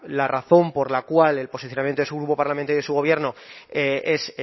la razón por la cual el posicionamiento de su grupo parlamentario y de su gobierno es